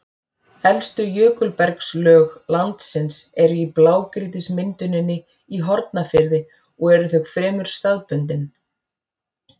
Elstu jökulbergslög landsins eru í blágrýtismynduninni í Hornafirði og eru þau fremur staðbundin.